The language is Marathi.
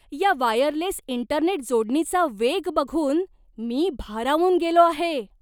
या वायरलेस इंटरनेट जोडणीचा वेग बघून मी भारावून गेलो आहे.